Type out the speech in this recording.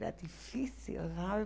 Era difícil, sabe?